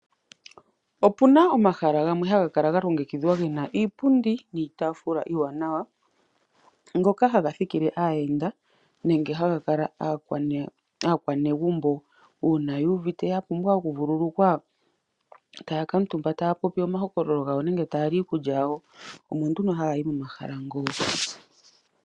Opuna omahala gamwe haga kala ga longekidhwa gena iipundi niitaafula iiwanawa ngoka haga thikile aayenda . Nenge haga kala aakwanegumbo. Uuna yuuvite yapumbwa oku vululukwa taya kuutumba taya popi omahokololo gawo nenge taya li iikulya yawo omo nduno haya yi momahala mo.